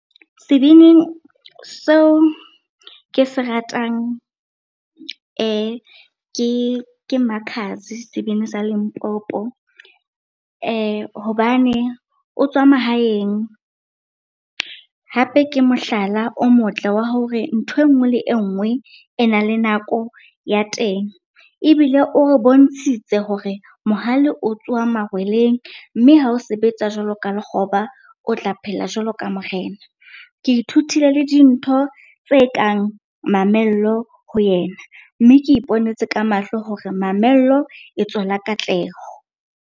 Sebini seo ke se ratang ke Makhadzi, sebini sa Limpopo hobane o tswa mahaeng hape ke mohlala o motle wa hore ntho e nngwe le e nngwe e na le nako ya teng. Ebile o re bontshitse hore mohale o tswa marweleng mme ha o sebetsa jwalo ka lekgoba, o tla phela jwalo ka morena. Ke ithutile le dintho tse kang mamello ho yena, mme ke iponetse ka mahlo hore mamello e tswala katleho.